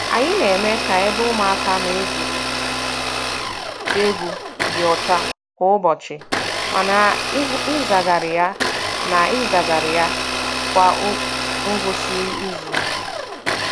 Anyị na-eme ka ebe ụmụaka na-egwuri egwu dị ọcha kwa ụbọchị, ma na-ehazigharị ya na-ehazigharị ya kwa ngwụsị izu.